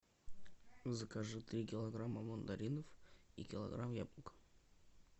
закажи три килограмма мандаринов и килограмм яблок